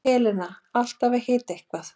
Helena alltaf að hita eitthvað.